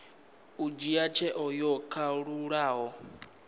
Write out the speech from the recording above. u dzhia tsheo yo kalulaho